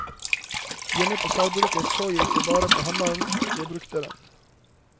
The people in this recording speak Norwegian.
Hjemme på sagbruket så jeg ikke bare på hammeren, jeg brukte den.